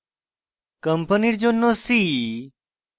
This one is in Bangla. company জন্য c